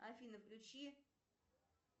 афина включи